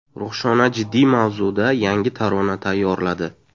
Ruxshona jiddiy mavzuda yangi tarona tayyorladi.